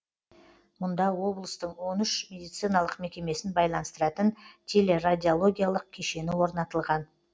мұнда облыстың он үш медициналық мекемесін байланыстыратын телерадиологиялық кешені орнатылған